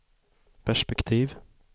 perspektiv